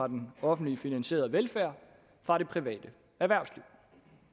den offentligt finansierede velfærd fra det private erhvervsliv